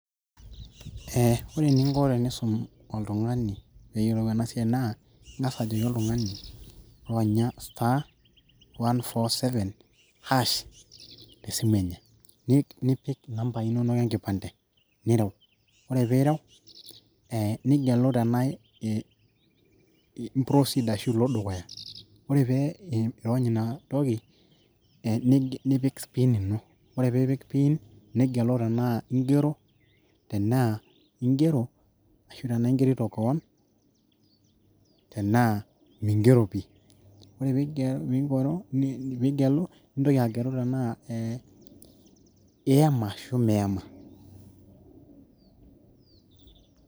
ee ore eninko tenisum oltung'ani peeyiolou ena siai naa ing'as ajoki oltung'ani ironya *147# tesimu enye nipik inambai inonok enkipande nirew, ore piirew ee nigelu tenaa ee im proceed ashu ilo dukuya ore piirony inatoki ee nipik pin ino ore piipik pin nigelu tenaa ingero tenaa, tenaa ingero ashu tenaa ingerito koon tenaa mingero pii ore pii piikoru piigelu nintoki agelu tenaa ee iyama ashu miyama.